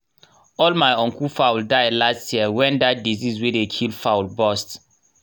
all my uncle fowl die last year when that disease wey dey kill fowl bust